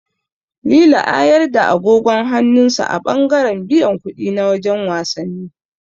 Lili a yarda agogon hannun sa a ɓangaren biyan kuɗi na wajen wasannin.